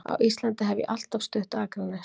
Á Íslandi hef ég alltaf stutt Akranes.